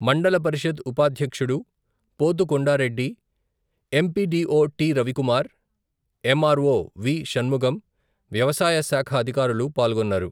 మండల పరిషత్ ఉపాధ్యక్షుడు, పోతు కొండారెడ్డి, ఎం.పి.డి.ఓ. టి.రవికుమార్, ఎమ్.ఆర్.ఓ. వి.షణ్ముగం, వ్యవసాయ శాఖ అధికారులు పాల్గొన్నారు.